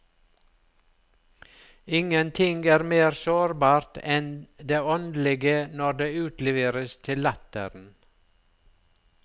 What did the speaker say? Ingenting er mer sårbart enn det åndelige når det utleveres til latteren.